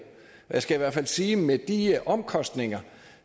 jeg skal i hvert fald sige at med de omkostninger